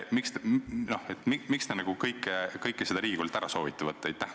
Miks te kõike seda Riigikogult ära soovite võtta?